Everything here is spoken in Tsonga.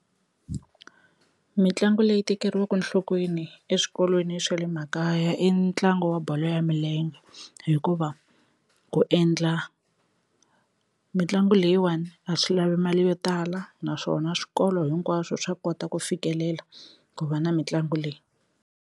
Mitlangu leyi tekeriwaka nhlokweni eswikolweni swa le makaya i ntlangu wa bolo ya milenge hikuva ku endla mitlangu leyiwani a swi lavi mali yo tala naswona swikolo hinkwaswo swa kota ku fikelela ku va na mitlangu leyi.